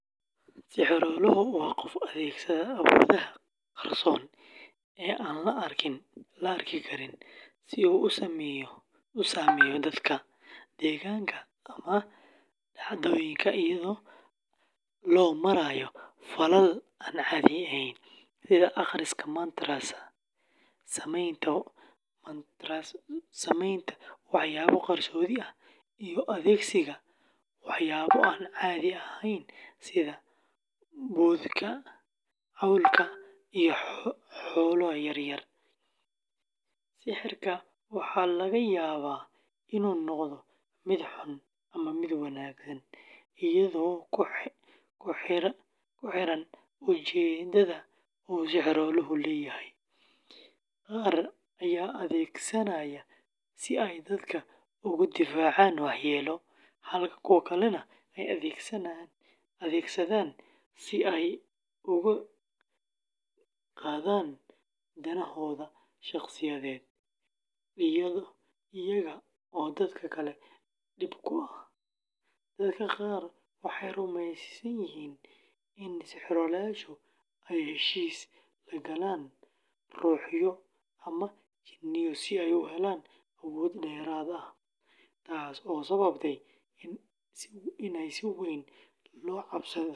Sixirooluhu waa qof adeegsada awoodaha qarsoon ee aan la arki karin si uu u saameeyo dadka, deegaanka, ama dhacdooyinka iyadoo loo marayo falal aan caadi ahayn, sida akhriska mantras, samaynta waxyaabo qarsoodi ah, iyo adeegsiga waxyaabo aan caadi ahayn sida boodhka, cawlka, iyo xoolo yaryar. Sixirka waxaa laga yaabaa inuu noqdo mid xun ama mid wanaagsan, iyadoo ku xiran ujeedada uu sixirooluhu leeyahay; qaar ayaa adeegsanaya si ay dadka uga difaacaan waxyeelo, halka kuwo kale ay u adeegsadaan si ay u gaadhaan danahooda shaqsiyadeed iyaga oo dadka kale dhib ku ah. Dadka qaar waxay rumaysan yihiin in sixiroolayaashu ay heshiis la galaan ruuxyo ama jinniyo si ay u helaan awoodo dheeraad ah, taas oo sababta in si weyn loo cabsado.